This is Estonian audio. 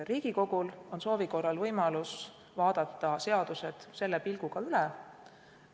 Riigikogul on soovi korral võimalus vaadata seadused selle pilguga üle.